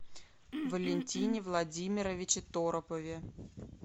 валентине владимировиче торопове